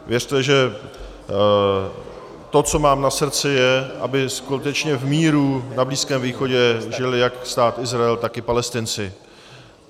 Věřte, že to, co mám na srdci, je, aby skutečně v míru na Blízkém východě žil jak Stát Izrael, tak i Palestinci.